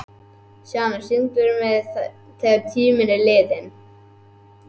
Sjana, syngdu fyrir mig „Þegar tíminn er liðinn“.